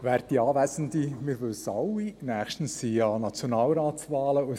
Wir alle wissen, dass nächstens die Nationalratswahlen stattfinden.